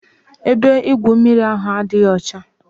Ebe igwu mmiri ahụ adịghị ọcha.